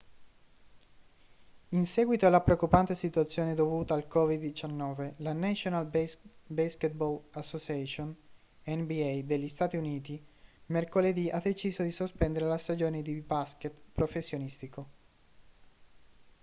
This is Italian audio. in seguito alla preoccupante situazione dovuta al covid-19 la national basketball association nba degli stati uniti mercoledì ha deciso di sospendere la stagione di basket professionistico